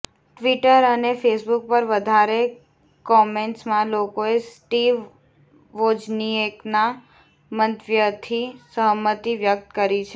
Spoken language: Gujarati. ટ્વિટર અને ફેસબુક પર વધારે કોમેન્ટ્સમાં લોકોએ સ્ટીવ વોજનિએકના મંતવ્યથી સહમતિ વ્યક્ત કરી છે